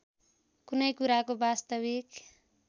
कुनै कुराको वास्तविक